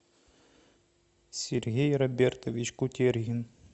сергей робертович кутергин